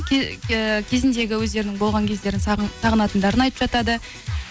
э кезіндегі өздерінің болған кездерін сағынып сағынатындарын айтып жатады